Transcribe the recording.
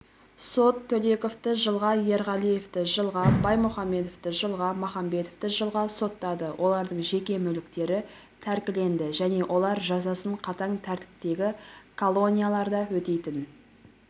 сот төлековты жылға ерғалиевті жылға баймухамедовті жылға махамбетовты жылға соттады олардың жеке мүліктері тәркіленді және олар жазасын қатаң тәртіптегі колонияларда өтейтін